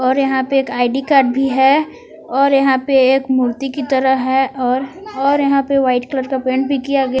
और यहां पे एक आई_डी कार्ड भी है और यहां पे एक मूर्ति की तरह है और और यहां पर व्हाइट कलर का पेंट भी किया गया--